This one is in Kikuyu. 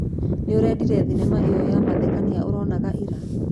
Nĩũrendire thinema ĩyo ya mathekania ũronaga ira.